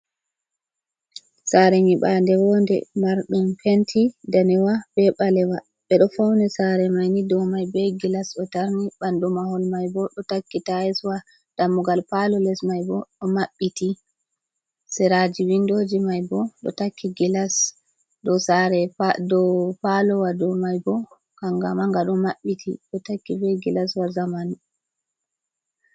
saare nyiɓaande woonde ,marɗum penti daneewa be baleewa, ɓe ɗo fawni saare may ni ,dow may be gilas bo, ɗo tarni ɓandu mahol may bo, ɗo takki taayiswa, dammugal paalo les may bo, ɗo maɓɓiti seraaji winndooji may bo, ɗo takki gilaswa dow paaloowa ,dow may bo kannga mannga ɗo mabbiti ,ɗo takki be gilaswa jamanu.